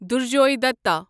دُرجوے دتا